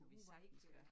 Hu var ikke øh